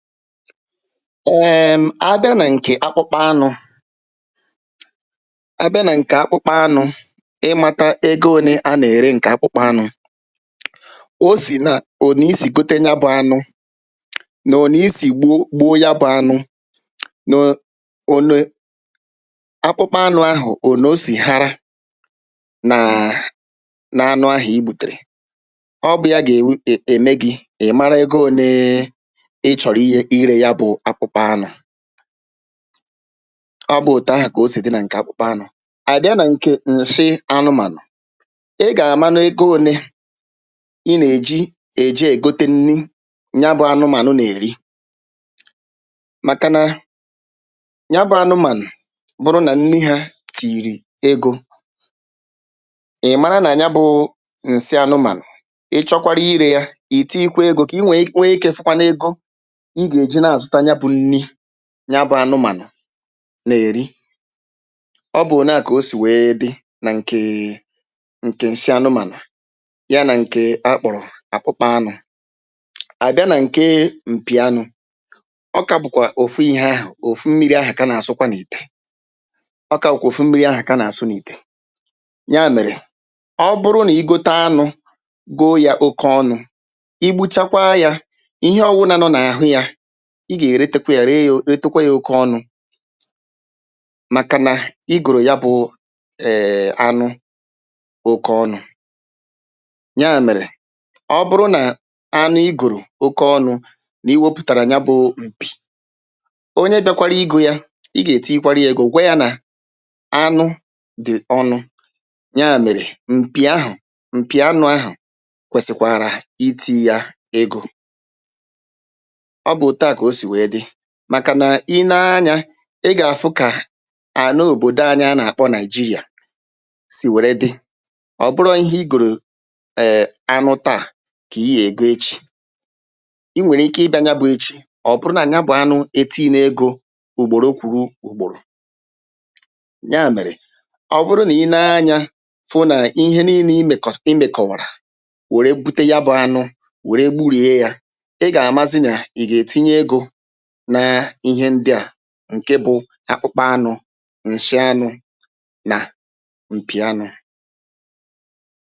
èèm̀ a bịa nà ǹkè akpụkpa anụ̄ a bịa nà ǹkè akpụkpa anụ̄ ịmāta ego ōnē a nà-ère ǹkè akpụkpa anụ̄ o sì nà ònè i sì gote nya bụ anụ nà ònè i sì gbu gbu nya bụ̄ anụ no onue akpụkpa anụ̄ ahụ̀ ònè o sì hara nàà n’anụ ahụ̀ i gbùtèrè ọ bụ̄ ya gè w’ gà-ème gị̄ ị̀ mara ego ōnēē ị chọ̀rʊ̣̀ ihe irē ya bụ̄ akpụkpa anụ̄ ọ bụ̄ òtù ahà kà o sì dị nà ǹkè akpụkpa anụ̄ à bịa nà ǹkè ǹshị anụmànụ̀ ị gà-àmanụ ego ōnē i nà-èji èje ègote nni nya bụ̄ anụmànụ nà-èri maka na nya bụ̄ anụmànụ̀ bụrụ nà nni hā tìyìrì egō ị̀ mara nà ya bụ̄ụ̄ ǹsị anụmànụ̀ ị chọkwarụ irē ya ì tiyikwa egō kà i nwèi nwee ikē fụkwanụ ego i gà-èji nà-àzụta ya bụ̄ nni nya bụ̄ anụmànụ̀ nà-èri ọ bụ̀ òneà kà o sì wèe dị nà ǹkèè ǹkè ǹsị anụmànụ̀ ya nà ǹkè a kpọ̀rọ̀ akpụkpa anụ̄ à bịa nà ǹkee m̀pì anụ̄ ọ kā bụ̀kwà òfu ihē ahụ̀ òfu mmīri ahụ̀ ká nà-àsụ́kwá n’ìtè ọ kā wụ̀kwà òfu mmīri ahụ̀ ká nà-àsụ́ n’ìtè nya mèrè ọ bụrụ nà i gote anụ̄ goo yā oke ọnụ̄ i gbuchakwaa yā ihe ọwụnā nọ n’àhụ yā i gà-èretekwa yā ree yō retekwe yā oke ọnụ̄ màkà nà i gòrò ya bụ̄ èè anụ oke ọnụ̄ nyaà mèrè ọ bụrụ nà anụ i gòrò oke ọnụ̄ nà i nwopụ̀tàrà ya bụ̄ụ m̀pì onye bịakwarụ igō ya i gà-ètiyikwarị yā egō gwa yā nà anụ dị̀ ọnụ nyaà mèrè m̀pì ahụ̀ m̀pì anụ̄ ahụ̀ kwèsị̀kwàrà itīyī ya egō ọ bụ̀ òtuà kà o sì wèe dị màkà nà i nee anyā ị gà-àfụ kà àna òbòdo anyị a nà-àkpọ Nàị̀jirị̀à sì wère dị ọ̀ bụrọ̄ ihe i gòrò ee anụ taà kà i yè ègo echi i nwèrè ike ịbị̄ā ya bụ̄ echi ọ̀ bụrụ nà ya bụ̀ anụ etiyine egō ùgbòro kwùru ùgbòrò nyaà mèrè ọ bụrụ nà i nee anyā fụ nà ihe niīlē i mēkọ̀s i mèkọ̀wàrà wère bute ya bụ̄ anụ wère gburìe yā ɪ́ gà:mázɪ́ nà ì gè:tíɲé égō naa ihe ndị à ǹke bụ̄ akpụkpa anụ̄ ǹshị anụ̄ nà m̀pì anụ̄